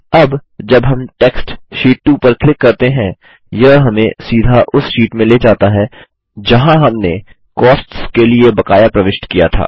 अब जब हम टेक्स्ट शीट 2 पर क्लिक करते हैं यह हमें सीधा उस शीट में ले जाता है जहाँ हमें कॉस्ट्स के लिए बकाया प्रविष्ट किया था